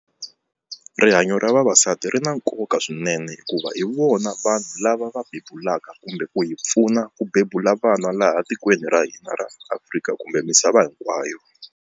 Rihanyo ra vavasati ri na nkoka swinene hikuva hi vona vanhu lava va bebulaka kumbe ku hi pfuna ku bebula vana laha tikweni ra hina ra Afrika kumbe misava hinkwayo.